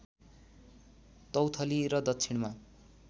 तौथली र दक्षिणमा